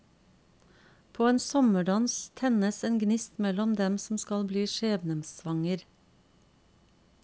På en sommerdans tennes en gnist mellom dem som skal bli skjebnesvanger.